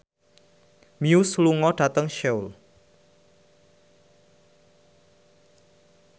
Muse lunga dhateng Seoul